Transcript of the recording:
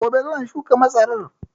Gobe zan shuka masarar